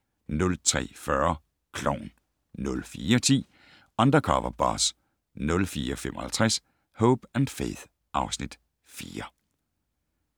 03:40: Klovn 04:10: Undercover Boss 04:55: Hope & Faith (Afs. 4)